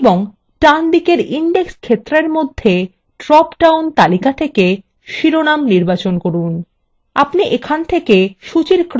এবং ডানদিকের index ক্ষেত্রের মধ্যে drop down তালিকা থেকে শিরোনাম নির্বাচন করুন